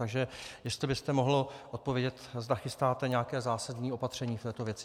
Takže jestli byste mohl odpovědět, zda chystáte nějaké zásadní opatření v této věci.